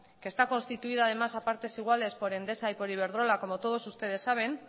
que está constituida además a partes iguales por endesa y por iberdrola como todos ustedes saben